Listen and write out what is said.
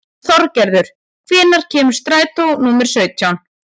Þorgerður, hvenær kemur strætó númer sautján?